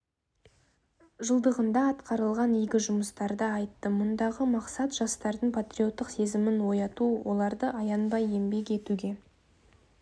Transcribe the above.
жылдығында атқарылған игі жұмыстарды айтты мұндағы мақсат жастардың патриоттық сезімін ояту оларды аянбай еңбек етуге